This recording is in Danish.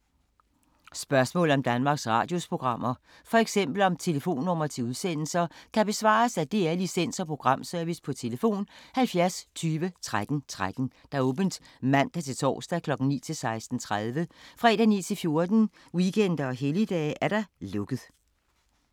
Spørgsmål om Danmarks Radios programmer, f.eks. om telefonnumre til udsendelser, kan besvares af DR Licens- og Programservice: tlf. 70 20 13 13, åbent mandag-torsdag 9.00-16.30, fredag 9.00-14.00, weekender og helligdage: lukket.